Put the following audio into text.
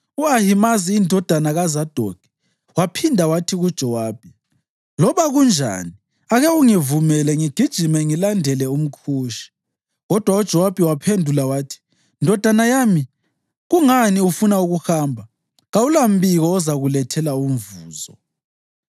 U-Ahimazi indodana kaZadokhi waphinda wathi kuJowabi, “Loba kunjani, ake ungivumele ngigijime ngilandele umKhushi.” Kodwa uJowabi waphendula wathi, “Ndodana yami, kungani ufuna ukuhamba? Kawulambiko ozakulethela umvuzo.”